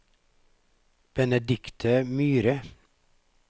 Benedikte Myhre